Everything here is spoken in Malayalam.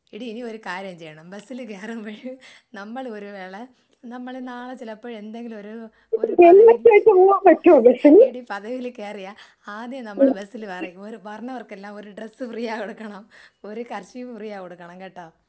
എടി നീ ഒരു കാര്യം ചെയ്യണം. ബസ്സില് കേറുമ്പോഴ് നമ്മള് ഒരു വേള നമ്മള് നാളെ ചിലപ്പോ എന്തെങ്കിലും ഒരു *നോട്ട്‌ ക്ലിയർ* എടി പതിവില് കേറിയാ ആദ്യം നമ്മള് ബസ്സില് പറയും വരുന്നവർക്കെല്ലാം ഒരു ഡ്രസ്സ് ഫ്രീയായി കൊടുക്കണം. ഒരു കർച്ചീഫ് ഫ്രീയായി കൊടുക്കണം. കേട്ടോ